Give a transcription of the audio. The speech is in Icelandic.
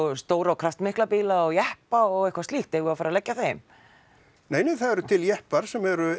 um stóra og kraftmikla bíla og jeppa og eitthvað slíkt eigum við að fara að leggja þeim það eru til jeppar sem eru